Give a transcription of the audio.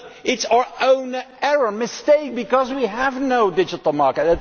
But it is our own mistake, because we have no digital market.